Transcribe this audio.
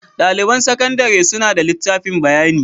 Daliban sakandare suna da litafin bayani.